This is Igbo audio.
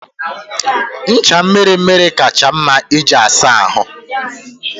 Ncha mmiri mmiri kacha mma iji asa ahụ.